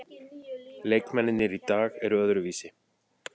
Leikmennirnir í dag eru öðruvísi.